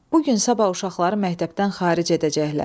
Bu gün sabah uşaqları məktəbdən xaric edəcəklər.